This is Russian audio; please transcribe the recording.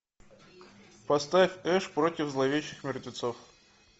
поставь эш против зловещих мертвецов